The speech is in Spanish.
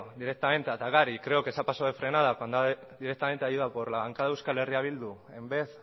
directamente a atacar y creo que se ha pasado de frenada cuando directamente ha ido a por la banca eh bildu en vez